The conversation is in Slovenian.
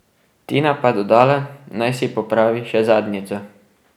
Tina pa dodala, naj si popravi še zadnjico.